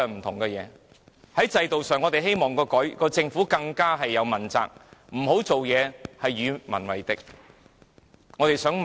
在制度上，我們希望政府能問責，不要做任何與民為敵的事情。